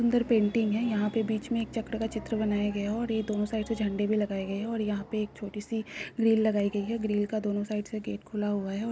अन्दर पेंटिंग है। यहाँ पे बीच मे एक चक्र का चित्र बनाया गया है। और ये दोनों साइड से झंडे भी लगाये गए हैं। और यहाँ एक छोटी-सी ग्रील लगाई गयी है। और ग्रील का दोनों साइड से गेट खुला हुआ है।